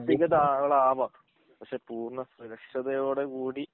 ആഹ് പിന്നെ പക്ഷെ പൂർണ സുരക്ഷതയോടു കൂടി